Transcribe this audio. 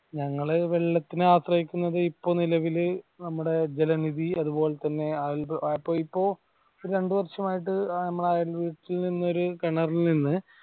ഞങ്ങൾ വെള്ളത്തിനു ആശ്രയിക്കുന്നത് ഇപ്പോൾ നിലവിൽ നമ്മുടെ ജലനിധി അത് പോലെ തന്നെ ആഹ് ഇപ്പൊ ഇപ്പോ രണ്ടു വര്ഷം ആയിട്ട് നമ്മളെ അയാൾ വീട്ടിലെ ഒരു കിണറിൽ നിന്ന്